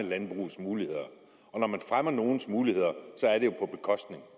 landbrugets muligheder når man fremmer nogens muligheder